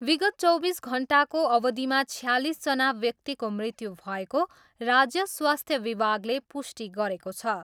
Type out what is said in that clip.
विगत चौबिस घन्टाको अवधिमा छयालिसजना व्यक्तिको मृत्यु भएको राज्य स्वास्थ्य विभागले पुष्टि गरेको छ।